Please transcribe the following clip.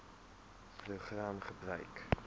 program gebruik